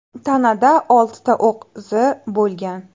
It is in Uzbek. Tanada oltita o‘q izi bo‘lgan.